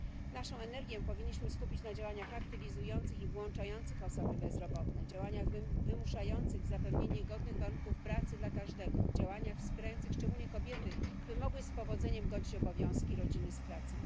Naszą energię powinniśmy skupić na działaniach aktywizujących i włączających osoby bezrobotne, działaniach wymuszających zapewnienie godnych warunków pracy dla każdego, działaniach wspierających szczególnie kobiety, by mogły z powodzeniem godzić obowiązki rodzinne z pracą.